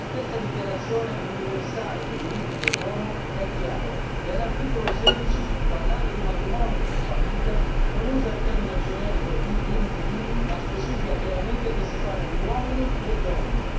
La stessa Dichiarazione universale dei diritti dell'uomo è chiara e all'articolo 16, parlando di matrimonio e famiglia, non usa il termine generico di individui, ma specifica chiaramente che si parla di uomini e donne.